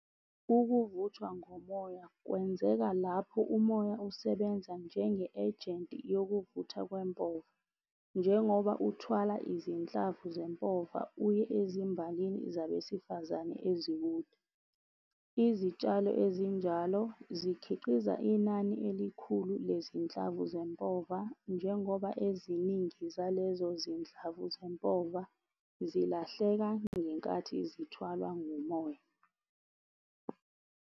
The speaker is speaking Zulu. Ukuvuthwa ngomoya, kwenzeka lapho umoya usebenza njenge-agent yokuvuthwa kwempova. Njengoba uthwala izinhlamvu zempova uye ezimbalini zabesifazane ezikude. Izitshalo ezinjalo zikhiqiza inani elikhulu lezinhlamvu zempova, njengoba eziningi zalezo zinhlamvu zempova, zilahleka ngenkathi zithwalwa ngumoya.